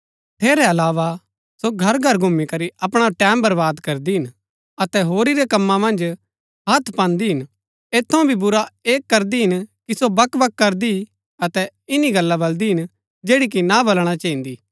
ठेरै अलावा सो घरघर घुमी करी अपणा टैमं बर्वाद करदी हिन अतै होरी रै कमां मन्ज हथ पान्दी हिन ऐत थऊँ भी बुरा ऐह करदी हिन कि सो बकबक करदी अतै ईन्नी गल्ला बल्‍दी हिन जैड़ी कि ना बलणा चैहिन्‍दी